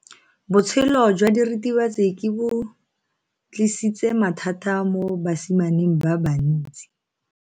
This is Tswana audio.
Botshelo jwa diritibatsi ke bo tlisitse mathata mo basimaneng ba bantsi.